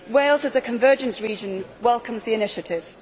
Wales, as a convergence region, welcomes the initiative.